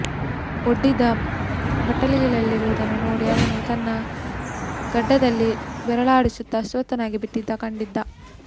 ಒಡ್ಡಿದ್ದ ಬಟ್ಟಲಲ್ಲಿರುವುದನ್ನು ನೋಡಿ ಅವನು ತನ್ನ ಗಡ್ಡದಲ್ಲಿ ಬೆರಳಾಡಿಸುತ್ತ ಅಸ್ವಸ್ಥ ನಾಗಿಬಿಟ್ಟಂತೆ ಕಂಡಿದ್ದ